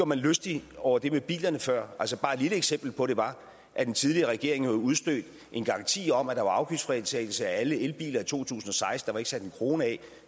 mig lystig over det med bilerne før bare et lille eksempel på det var at den tidligere regering jo har udstedt en garanti om at der var afgiftsfritagelse for alle elbiler i to tusind og seksten der var ikke sat en krone af